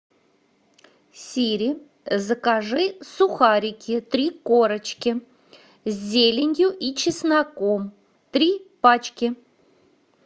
сири закажи сухарики три корочки с зеленью и чесноком три пачки